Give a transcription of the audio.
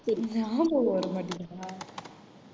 ஞாபகம் வரமாட்டீங்குதா